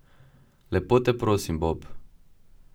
Lepo te prosim, Bob!